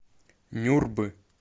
нюрбы